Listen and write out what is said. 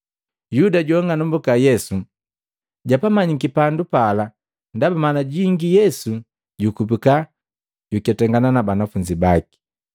Yuda joa ang'anumbuka Yesu, japamanyiki pandu pala ndaba mala jingi Yesu jukubika juketangana na banafunzi baki.